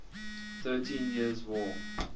thirteen years war